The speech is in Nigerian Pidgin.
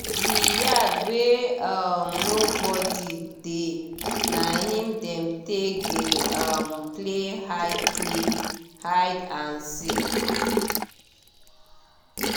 di yard wey um no body dey na him dem take dey um play hide play hide and seek